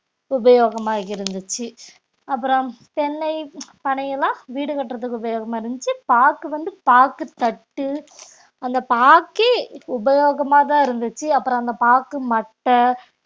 உபயோகமா இருந்துச்சு அப்புறம் தென்னை, பனையெல்லாம் வீடு கட்டுறதுக்கு உபயோகமா இருந்துச்சு பாக்கு வந்து பாக்கு தட்டு அந்த பாக்கே உபயோகமாதான் இருந்துச்சு அப்புறம் அந்த பாக்கு மட்டை